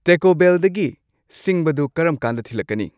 ꯇꯦꯀꯣ ꯕꯦꯜꯗꯒꯤ ꯁꯤꯡꯕꯗꯨ ꯀꯔꯝꯀꯥꯟꯗ ꯊꯤꯜꯂꯛꯀꯅꯤ